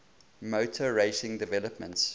motor racing developments